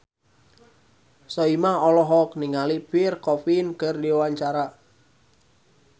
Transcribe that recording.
Soimah olohok ningali Pierre Coffin keur diwawancara